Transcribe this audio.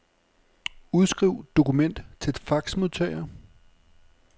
Udskriv dokument til faxmodtager.